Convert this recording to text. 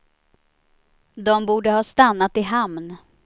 De borde ha stannat i hamn.